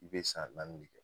I be san nanni de kɛ